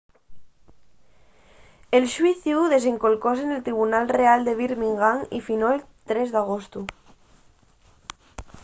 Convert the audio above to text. el xuiciu desendolcóse nel tribunal real de birmingham y finó’l 3 d’agostu